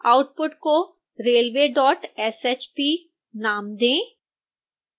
output को railwayshp नाम दें